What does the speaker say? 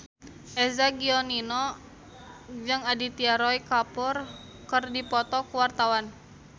Eza Gionino jeung Aditya Roy Kapoor keur dipoto ku wartawan